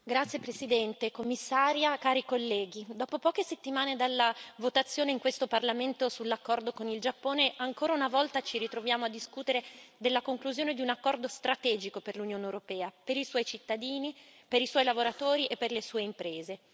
Signor Presidente, onorevoli colleghi, Commissaria, dopo poche settimane dalla votazione in questo Parlamento sull'accordo con il Giappone, ancora una volta ci ritroviamo a discutere della conclusione di un accordo strategico per l'Unione europea, per i suoi cittadini, per i suoi lavoratori e per le sue imprese.